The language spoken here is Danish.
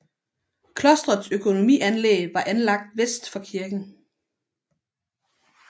Klostrets økonomianlæg var anlagt vest for kirken